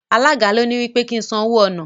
Alága ló ní wí pé kí n san owó ọ̀nà.